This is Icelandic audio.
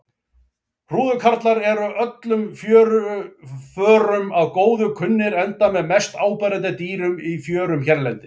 Hrúðurkarlar eru öllum fjöruförum að góðu kunnir enda með mest áberandi dýrum í fjörum hérlendis.